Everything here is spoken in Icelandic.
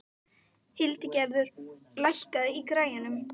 Hildigerður, lækkaðu í græjunum.